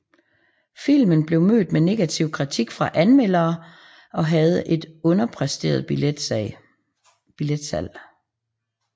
Filmen blev mødt med negativ kritik fra anmelderene og havde et underpræsterede billetsalg